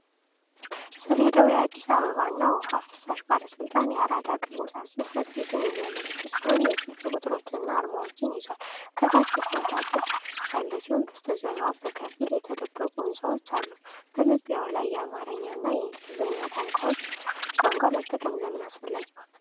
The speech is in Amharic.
ሰሌዳው የአዲስ አበባ ውሃና ፍሳሽ ባለሥልጣን የአራዳ ቅርንጫፍ ጽሕፈት ቤትን የሚያመለክት ሲሆን የስልክ ቁጥሮችንና አርማዎችን ይዟል። ከታች የብረት አጥር ያለ ሲሆን፣ በስተጀርባም በከፊል የተደበቁ ሕንፃዎች አሉ። በመግቢያው ላይ የአማርኛ እና የእንግሊዝኛ ቋንቋ መጠቀም ለምን አስፈላጊ ሆነ?